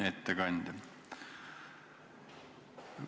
Hea ettekandja!